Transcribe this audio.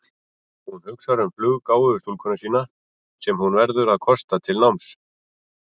Hún hugsar um fluggáfuðu stúlkuna sína sem hún verður að kosta til náms.